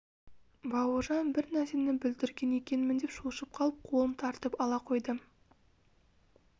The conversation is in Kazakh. бауыржан бір нәрсені бүлдірген екенмін деп шошып қалып қолын тартып ала қойды